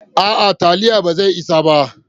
A'a, taliyar ba zai isa ba